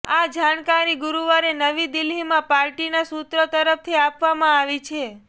આ જાણકારી ગુરૂવારે નવી દિલ્હીમાં પાર્ટીના સુત્રો તરફથી આપવામાં આવી છે